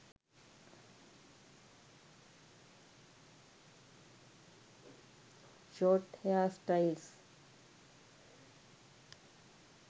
short hairstyles